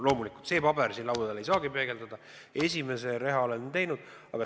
Loomulikult see paber siin laua peal ei saagi seda peegeldada, aga esimese riisumise oleme teinud.